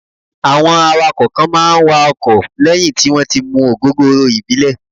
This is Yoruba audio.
Àwọn awakọ̀ kan máa ń wakọ̀ lẹ́yìn tí wón ti mu ògógóró ìbílẹ̀.